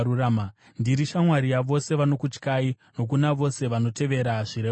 Ndiri shamwari yavose vanokutyai, nokuna vose vanotevera zvirevo zvenyu.